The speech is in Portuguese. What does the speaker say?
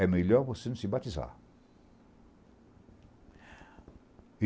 É melhor você não se batizar.